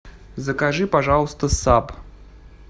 закажи пожалуйста саб